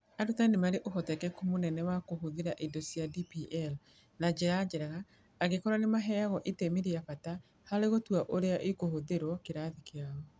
Arutani nĩ marĩ ũhotekeku mũnene wa kũhũthĩra indo cia DPL na njĩra njega angĩkorũo nĩ maheagwo itemi rĩa bata harĩ gũtua ũrĩa igũhũthĩrũo kĩrathi kĩao.